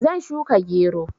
Zan shuka gero.